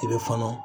I bɛ fɔnɔ